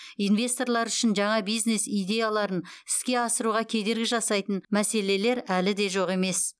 инвесторлар үшін жаңа бизнес идеяларын іске асыруға кедергі жасайтын мәселелер әлі де жоқ емес